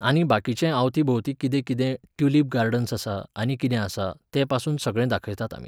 आनी बाकीचें आवती भोवतीं कितें कितें, ट्यूलिप गार्डन्स आसा, आनी कितें आसा, तेंपासून सगळें दाखयतात आमी.